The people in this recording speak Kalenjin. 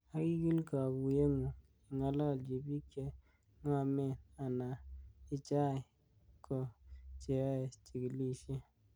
Ak igiil kokuyengung ingalalchi bik che ngomen ana ichai ko cheyoe chigilisiet.